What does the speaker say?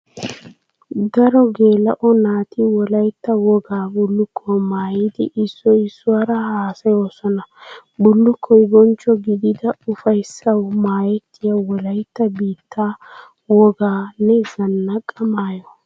Daro geela'o naati wolaytta wogaa bulukkuwaa maayiddi issoy issuwara haasayosonna. Bullukkoy bonchcho gididda ufayssawu maayettiya wolaytta biitta woganne zanaqa maayo.